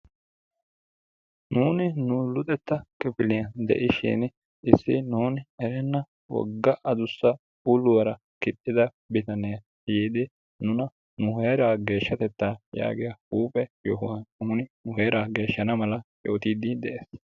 Nunu nu luxxetta kifiliyaan diishin issi nuuni erenna wogga aduussa uluwaara kiixxida bitanee yiidi nuna nu heeraa geeshshatettaa yaagiyaa huphphe yohuwaan nuni nu heeraa geeshshana mala yootiidi de'ees.